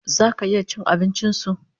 Zaka iya cin abincin su$